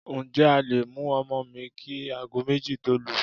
Ǹjẹ́ a le mú ọmọ mi kí aago méjì tó lù?